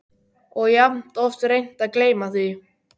Og jafn oft reynt að gleyma því.